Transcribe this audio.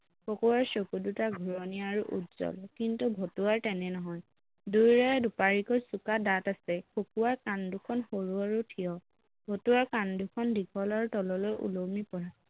খকুৱাৰ চকুদুটা ঘূৰণীয়া আৰু উজ্বল কিন্তু ভতুৱাৰ তেনে নহয় দুয়োৰে দুপাৰিকৈ চোকা দাঁত আছে খকুৱাৰ কাণ দুখন সৰু আৰু ঠিয় ভতুৱাৰ কাণ দুখন দীঘল আৰু তললৈ ওলমি পৰা